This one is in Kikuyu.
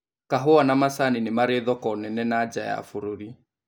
Kahũa na majani nĩmari thoko nene na nja ya bũrũri